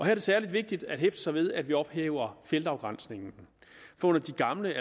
er det særlig vigtigt at hæfte sig ved at vi ophæver feltafgrænsningen under de gamle